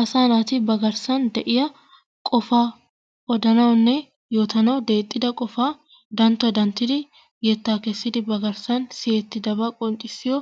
Asaa naati ba garssan de'iya qofaa odanawunne yoottanawu deexxida qofaa danttuwa danttdi yettaa kessidi ba garssan siyettidabayo